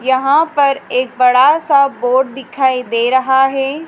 यहां पर एक बड़ा सा बोर्ड दिखाई दे रहा है।